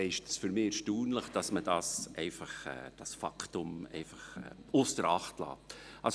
So ist es für mich erstaunlich, dass man dieses Faktum einfach ausser Acht lässt.